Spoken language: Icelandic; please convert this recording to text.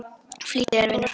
Flýttu þér, vinur.